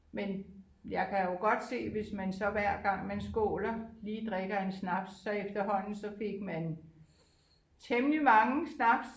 Men jeg kan jo godt se hvis man så hver gang man skåler lige drikker en snaps så efterhånden så fik man temmelig mange snaps